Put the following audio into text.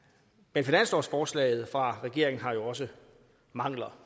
men finanslovsforslaget fra regeringen har jo også mangler